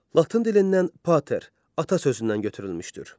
Latın dilindən pater, ata sözündən götürülmüşdür.